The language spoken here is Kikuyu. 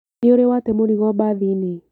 Nĩũrĩ wate mũrigo bathinĩ?